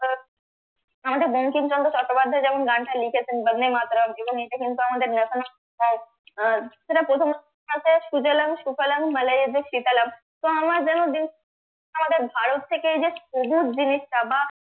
আমাদের বঙ্কিমচন্দ্র চট্টোপাধ্যায় যেমন গানটা লিখেছেন বন্দে মাতারাম যেমন এটা কিন্তু আমাদের national song সেটার প্রথমাংশে সুজলাং সুফলাং মলয়জশীতলাম্ তো আমার যেনো আমাদের ভারত থেকে যে এই জিনিসটা বা